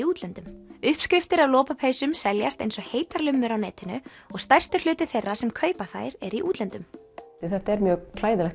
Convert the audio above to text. útlöndum uppskriftir að lopapeysum seljast eins og heitar lummur á netinu og stærstur hluti þeirra sem kaupa þær er í útlöndum þetta er mjög